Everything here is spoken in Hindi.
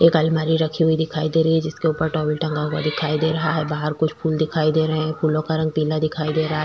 एक अलमारी रखी हुई दिखाई दे रही है जिसके ऊपर टॉवल टंगा हुआ दिखाई दे रहा है बाहर कुछ फूल दिखाई दे रहै है फूलों का रंग पीला दिखाई दे रहा हैं।